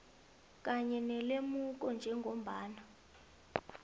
kanye nelemuko njengombana